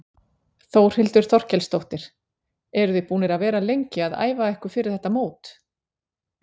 Þórhildur Þorkelsdóttir: Eruð þið búnir að vera lengi að æfa ykkur fyrir þetta mót?